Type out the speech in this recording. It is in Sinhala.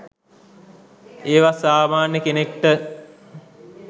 ඒවත් සාමාන්‍ය කෙනෙක්ට